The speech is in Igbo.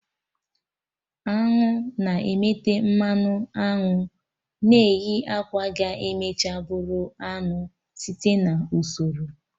Añụ na-emete mmanụ aṅụ na-eyi akwa ga emecha bụrụ anụ site na usoro